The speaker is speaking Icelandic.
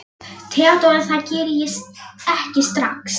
THEODÓRA: Það geri ég ekki strax.